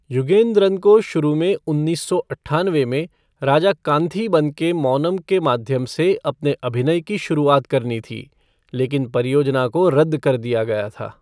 युगेंद्रन को शुरू में उन्नीस सौ अट्ठानवे में राजा कांथीबन के मौनम के माध्यम से अपने अभिनय की शुरुआत करनी थी, लेकिन परियोजना को रद्द कर दिया गया।